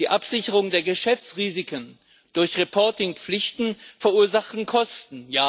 Die Absicherung der Geschäftsrisiken durch Reporting Pflichten verursacht Kosten.